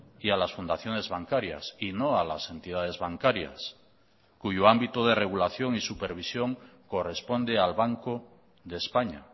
y a las fundaciones bancarias y no a las entidades bancarias cuyo ámbito de regulación y supervisión corresponde al banco de españa